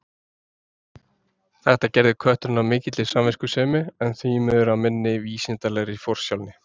Þetta gerði kötturinn af mikilli samviskusemi, en því miður af minni vísindalegri forsjálni.